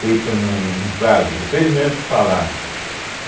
Feito num num num prazo, vocês mesmos que falaram.